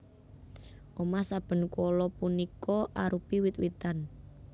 Omah saben koala punika arupi wit witan